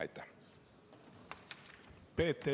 Aitäh!